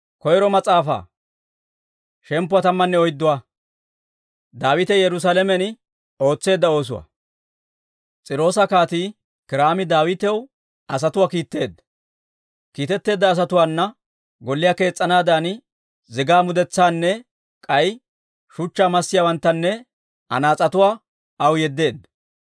S'iiroosa Kaatii Kiiraami Daawitaw asatuwaa kiitteedda. Kiitetteedda asatuwaana golliyaa kees's'anaadan zigaa mudetsaanne k'ay shuchchaa massiyaawanttanne anaas'etuwaa aw yeddeedda.